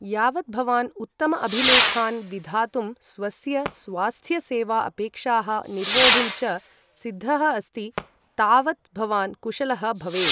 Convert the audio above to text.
यावत् भवान् उत्तम अभिलेखान् विधातुं, स्वस्य स्वास्थ्य सेवा अपेक्षाः निर्वोढुं च सिद्धः अस्ति, तावत् भवान् कुशलः भवेत्।